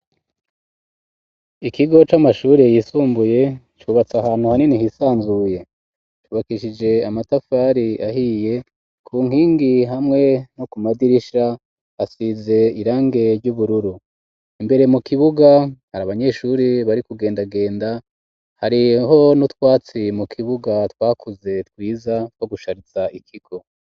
Ikigo c'amashuri yisumbuye cubatse ahantu hanini hisanzuye cubakeshije amatafari ahiye ku nkingi hamwe no ku madirisha hasize irangi ry'ubururu imbere mu kibuga hari abanyeshuri bari kugendagenda hariho n'utwatsi mu kibuga twakuze twiza two gushariza ikigo.